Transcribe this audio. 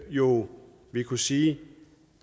jo kunne sige